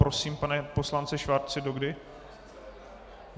Prosím, pane poslanče Schwarzi, do kdy?